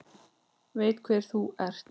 Veit hver þú ert.